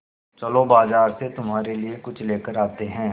चलो बाज़ार से तुम्हारे लिए कुछ लेकर आते हैं